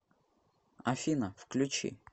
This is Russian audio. афина включи продиджи